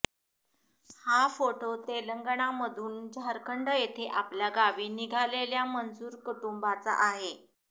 हा फोटो तेलंगणामधून झारखंड येथे आपल्या गावी निघालेल्या मजूर कुटुंबांचा आहे